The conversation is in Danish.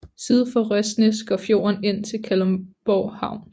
Syd for Røsnæs går fjorden ind til Kalundborg Havn